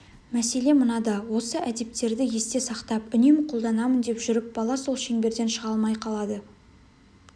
мәселе мынада осы әдептерді есте сақтап үнемі қолданамын деп жүріп бала сол шеңберден шыға алмай қалады